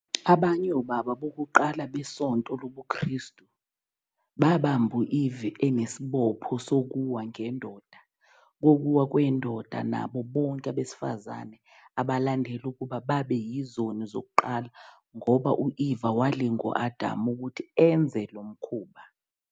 Abanye obaba bokuqala besonto lobuKristu babamba u-Eva enesibopho sokuwa kwendoda nabo bonke abesifazane abalandela ukuba babe yizoni zokuqala ngoba u-Eva walinga u-Adamu ukuthi enze lo mkhuba.